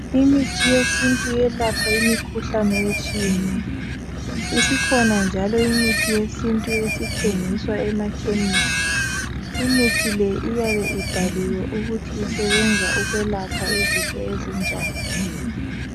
Imithi yesintu iyelapha imikhuhlane etshiyeneyo. Isikhona njalo imithi yesintu esithengiswa emakhemisi. Imithi le iyabe ibhaliwe ukuthi isebenza ukwelapha izifo ezinjani.